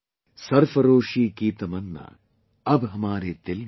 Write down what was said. Sarfaroshi ki tamanna ab hamare dil mein hai